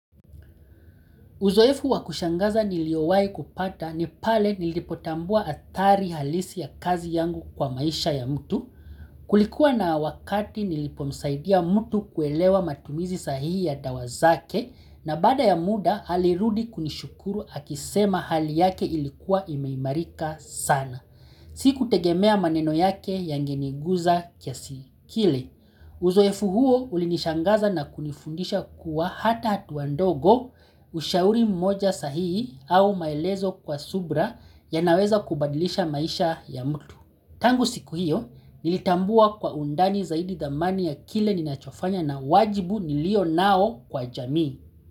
Uzoefu wakushangaza niliowai kupata ni pale nilipotambua athari halisi ya kazi yangu kwa maisha ya mtu, Kulikuwa na wakati nilipomsaidia mtu kuelewa matumizi sahihi ya dawa zake na baada ya muda alirudi kunishukuru akisema hali yake ilikuwa imeimarika sana. Sikutegemea maneno yake yangeniguza kiasi kile. Uzoefu huo ulinishangaza na kunifundisha kuwa hata hatua ndogo, ushauri mmoja sahihi au maelezo kwa subira yanaweza kubadilisha maisha ya mtu. Tangu siku hiyo, nilitambua kwa undani zaidi thamani ya kile ninachofanya na wajibu nilio nao kwa jamii.